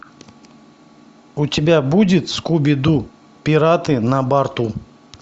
у тебя будет скуби ду пираты на барту